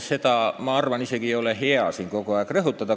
Ma arvan, et ei ole hea seda siin kogu aeg rõhutada.